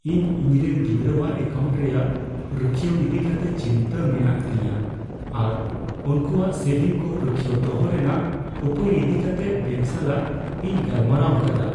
ᱤᱧ ᱤᱧᱨᱮᱱ ᱜᱤᱫᱽᱨᱟᱹᱣᱟᱜ ᱮᱠᱟᱣᱩᱱᱴ ᱨᱮᱭᱟᱜ ᱨᱩᱠᱷᱟᱹᱭᱤ ᱤᱫᱤ ᱠᱟᱛᱮ ᱪᱤᱱᱛᱟᱹ ᱢᱮᱱᱟᱜ ᱛᱤᱧᱟᱹ ᱟᱨ ᱩᱱᱠᱩᱣᱟᱜ ᱥᱮᱵᱷᱤᱝ ᱠᱚ ᱨᱩᱠᱷᱤᱭᱟᱹᱣ ᱫᱚᱦᱚ ᱨᱮᱱᱟᱜ ᱩᱯᱟᱹᱭ ᱤᱫᱤ ᱠᱟᱛᱮᱜ ᱵᱮᱝᱠ ᱥᱟᱞᱟᱜ ᱤᱧ ᱜᱟᱞᱢᱟᱨᱟᱣ ᱟᱠᱟᱫᱟ ᱾